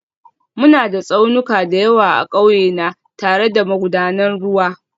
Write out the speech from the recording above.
Muna da tsaunuka da yawa a ƙauye na, tare da magudanan ruwa